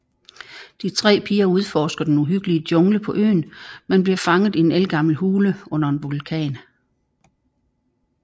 De tre piger udforsker den uhyggelige jungle på øen men bliver fanget i en ældgammel hule under en vulkan